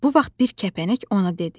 Bu vaxt bir kəpənək ona dedi: